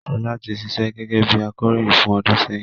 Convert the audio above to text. Ṣọlá ti ṣíṣe gẹ́gẹ́ bí akọròyìn fún ọdún sẹ́yìn